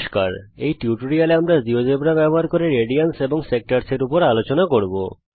এই টিউটোরিয়াল এ আমরা জীয়োজেব্রা ব্যবহার করে রেডিয়ানস এবং বিভাগসেক্টরস এর উপর কাজ করব